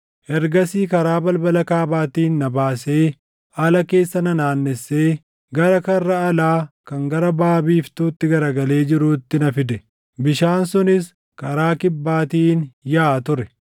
Ergasii karaa balbala kaabaatiin na baasee ala keessa na naannessee gara karra alaa kan gara baʼa biiftuutti garagalee jiruutti na fide; bishaan sunis karaa kibbaatiin yaaʼa ture.